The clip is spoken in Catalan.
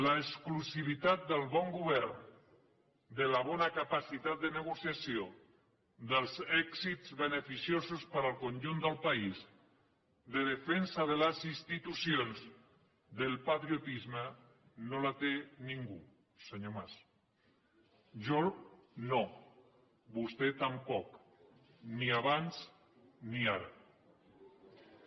l’exclusivitat del bon govern de la bona capacitat de negociació dels èxits beneficiosos per al conjunt del país de defensa de les institucions del patriotisme no la té ningú senyor mas jo no vostè tampoc ni abans ni ara